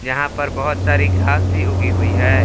यहां पर बहुत सारी घास भी उगी हुई है।